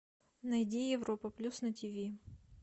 найди европа плюс на тв